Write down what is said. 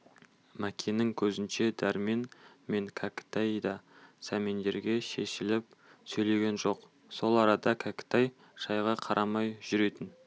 мәкеннің көзінше дәрмен мен кәкітай да сәмендерге шешіліп сөйлеген жоқ сол арада кәкітай шайға қарамай жүретін